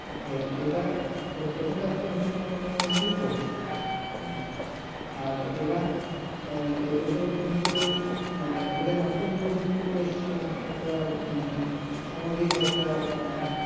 তো এটা এটা তো একটা entertainment মধ্যেই পড়ছে হুম আর এরা এ এদের কিন্তু মানে এদের নাটকগুলো কিন্তু বেশ একটা সামাজিক একটা